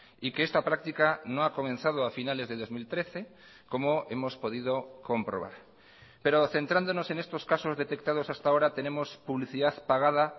y que esta práctica no ha comenzado a finales de dos mil trece como hemos podido comprobar pero centrándonos en estos casos detectados hasta ahora tenemos publicidad pagada